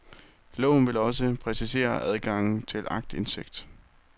Loven vil også præcisere adgangen til aktindsigt.